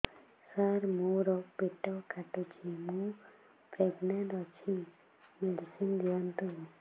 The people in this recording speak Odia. ସାର ମୋର ପେଟ କାଟୁଚି ମୁ ପ୍ରେଗନାଂଟ ଅଛି ମେଡିସିନ ଦିଅନ୍ତୁ